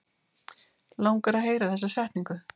Langar að heyra þessa setningu.